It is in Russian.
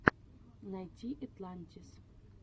найти этлантис